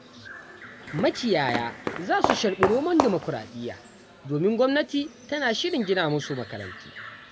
Makiyaya za su sharɓi romon dimokuraɗiya, domin gwamnati tana shirin gina musu makarantu.